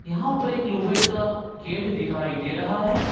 यहां पर एक लोहे का गेट दिखाई दे रहा है।